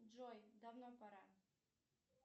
джой давно пора